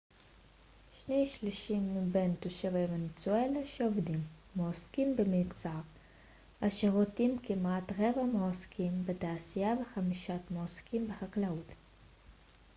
שני שלישים מבין תושבי ונצואלה שעובדים מועסקים במגזר השירותים כמעט רבע מועסקים בתעשייה וחמישית מועסקים בחקלאות